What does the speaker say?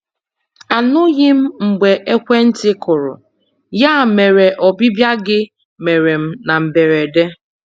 Anụghị m mgbe ekwentị kụrụ, ya mere ọbịbịa gị mere m na mberede.